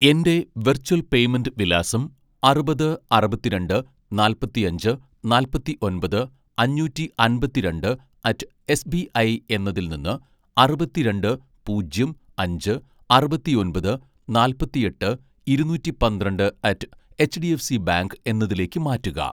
എൻ്റെ virtual payment വിലാസം അറുപത് അറുപത്തിരണ്ട് നാല്‍പത്തിയഞ്ച് നാല്‍പത്തി ഒന്‍പത് അഞ്ഞൂറ്റി അമ്പത്തി രണ്ട് അറ്റ്‌ എസ്ബിഐ എന്നതിൽ നിന്ന് അറുപത്തിരണ്ട് പൂജ്യം അഞ്ച് അറുപത്തിയൊന്‍പത് നാല്‍പത്തിയെട്ട് ഇരുന്നൂറ്റി പന്ത്രണ്ട് അറ്റ് എച്ഡിഎഫ്സി ബാങ്ക് എന്നതിലേക്ക് മാറ്റുക